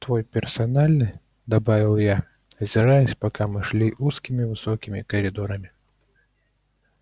твой персональный добавил я озираясь пока мы шли узкими высокими коридорами